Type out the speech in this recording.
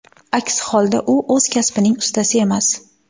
Aks holda, u o‘z kasbining ustasi emas.